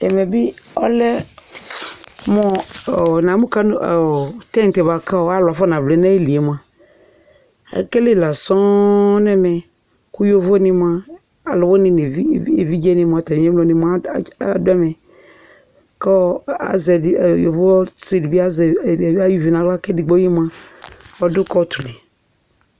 Ɛmɛ bi ɔlɛ mu tint kɔ alu afɔna vlɛ na ayilié mua, ékélé la sɔ̀ǹ Ku yovoni mua ɔluwuni néʋidjé wani mua adu amɛ Kɔ yovo ɔsidibi azɛ ayu vɩ na aɣla ké édigboé mua ɔdu kôt li